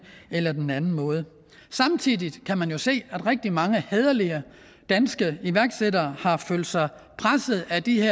eller den anden måde samtidig kan man jo se at rigtig mange hæderlige danske iværksættere har følt sig presset af de